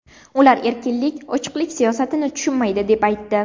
Ular erkinlik, ochiqlik siyosatini tushunmaydi”, deb aytdi .